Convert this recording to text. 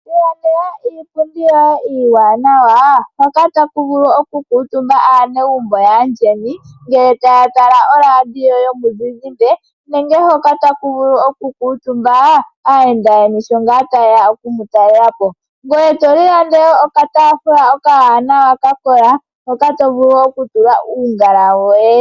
Ilandela iipundi yoye iiwanawa hoka taku vulu okukutumba aanegumbo yaayeni, ngele taya tala oradio yomuzizimba, nenge hoka taku vulu okukutumba aayenda yeni shonngaa taye ya oku mu talela po. Ngoye to ilandele kkatafula okawanawa ka kola, hoka to vulu okutula uungala woye.